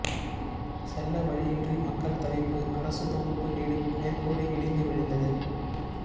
செல்ல வழியின்றி மக்கள் தவிப்பு அரசு தொகுப்பு வீடு மேற்கூரை இடிந்து விழுந்தது